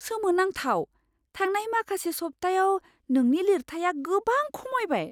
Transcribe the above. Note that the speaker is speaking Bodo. सोमोनांथाव! थांनाय माखासे सप्तायाव नोंनि लिरथाइया गोबां खमायबाय!